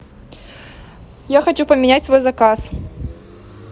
я хочу поменять свой заказ